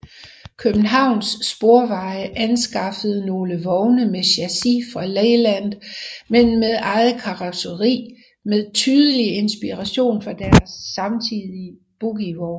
Københavns Sporveje anskaffede nogle vogne med chassis fra Leyland men med eget karosseri med tydelig inspiration fra deres samtidige bogievogne